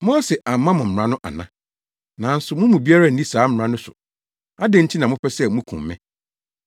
Mose amma mo mmara no ana? Nanso mo mu biara nni saa mmara no so! Adɛn nti na mopɛ sɛ mukum me?”